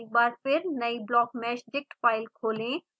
एक बार फिर नयी blockmeshdict फाइल खोलें